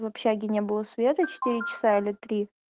в общаге не было света четыре часа или три